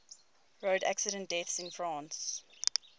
road accident deaths in france